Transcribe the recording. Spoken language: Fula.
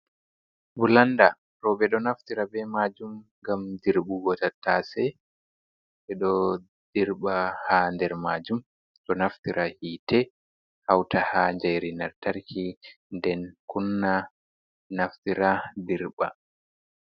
Bulanda, roɓe ɗo naftira be majum gam dirɓugo tattase, ɓe ɗo dirɓa ha der majum, ɗo naftira hite, hauta ha jairinartarki nden kunna naftira dirɓa.